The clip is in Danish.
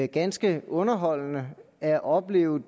ganske underholdende at opleve